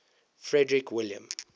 frederick william